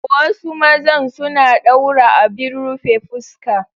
Wasu mazan suna daura abin rufe fuska.